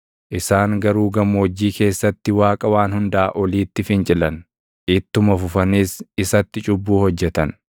Isaan garuu gammoojjii keessatti Waaqa Waan Hundaa Oliitti fincilan; ittuma fufaniis isatti cubbuu hojjetan.